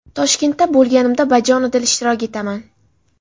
Toshkentda bo‘lganimda bajonidil ishtirok etaman.